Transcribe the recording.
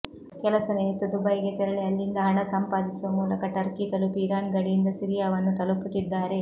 ಕೆಲಸ ನಿಮಿತ್ತ ದುಬೈಗೆ ತೆರಳಿ ಅಲ್ಲಿಂದ ಹಣ ಸಂಪಾದಿಸುವ ಮೂಲಕ ಟರ್ಕಿ ತಲುಪಿ ಇರಾನ್ ಗಡಿಯಿಂದ ಸಿರಿಯಾವನ್ನು ತಲುಪುತ್ತಿದ್ದಾರೆ